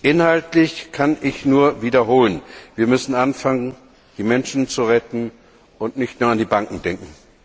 Inhaltlich kann ich nur wiederholen Wir müssen anfangen, die Menschen zu retten, und nicht nur an die Banken denken.